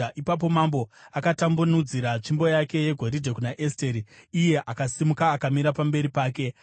Ipapo mambo akatambanudzira tsvimbo yake yegoridhe kuna Esteri iye akasimuka akamira pamberi pake.